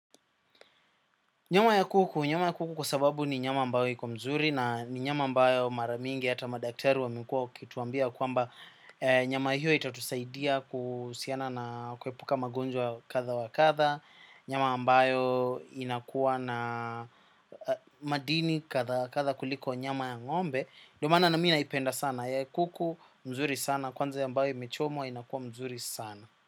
Nyama ya kuku, nyama ya kuku kwa sababu ni nyama ambayo iko mzuri na ni nyama ambayo maramingi hata madaktari wamekuwa wakituambia ya kwamba nyama hiyo itatusaidia kuhusiana na kuepuka magonjwa wa katha wa katha, nyama ambayo inakuwa na madini katha katha kuliko nyama ya ng'ombe, ndio maana mimi naipenda sana ya kuku, mzuri sana, kwanza ya ambayo imechomwa inakuwa mzuri sana.